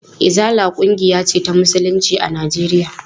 Izala ƙungiya ce ta musulunci a Najeriya.